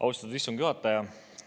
Austatud istungi juhataja!